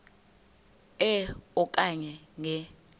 e okanye nge